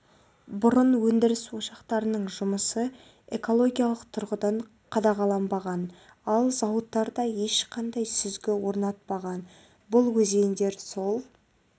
бұрын өндіріс ошақтарының жұмысы экологиялық тұрғыдан қадағаланбаған ал зауыттар да ешқандай сүзгі орнатпаған бұл өзендер сол